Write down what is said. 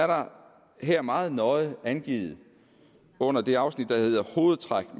der her meget nøje er angivet under det afsnit der hedder hovedtræk